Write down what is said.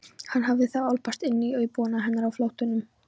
Hann hafði þá álpast inn í íbúðina hennar á flóttanum!